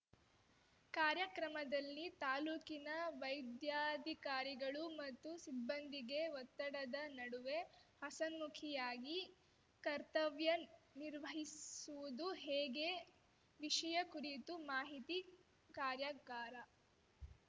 ಕಾರ್ಯಕ್ರಮದಲ್ಲಿ ತಾಲೂಕಿನ ವೈದ್ಯಾಧಿಕಾರಿಗಳು ಮತ್ತು ಸಿಬ್ಬಂದಿಗೆ ಒತ್ತಡದ ನಡುವೆ ಹಸನ್ಮುಖವಾಗಿ ಕರ್ತವ್ಯ ನಿರ್ವಸುವುದು ಹೇಗೆ ವಿಷಯ ಕುರಿತು ಮಾಹಿತಿ ಕಾರ್ಯಾಗಾರ